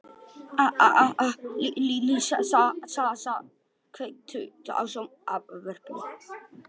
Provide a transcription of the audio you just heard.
Alísa, kveiktu á sjónvarpinu.